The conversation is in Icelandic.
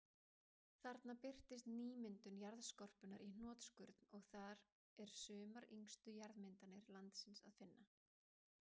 Þarna birtist nýmyndun jarðskorpunnar í hnotskurn, og þar er sumar yngstu jarðmyndanir landsins að finna.